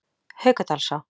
Haukadalsá